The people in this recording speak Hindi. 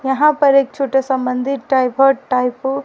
यहां पर एक छोटा सा मंदिर टाइप ।